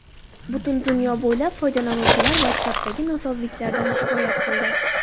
Butun dunyo bo‘ylab foydalanuvchilar WhatsApp’dagi nosozliklardan shikoyat qildi.